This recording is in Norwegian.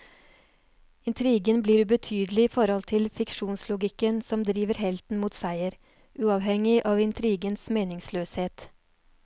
Intrigen blir ubetydelig i forhold til fiksjonslogikken som driver helten mot seier, uavhengig av intrigens meningsløshet.